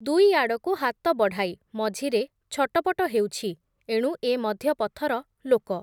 ଦୁଇ ଆଡ଼କୁ ହାତ ବଢ଼ାଇ ମଝିରେ ଛଟପଟ ହେଉଛି, ଏଣୁ ଏ ମଧ୍ୟପଥର ଲୋକ ।